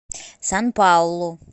сан паулу